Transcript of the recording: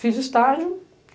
Fiz estágio.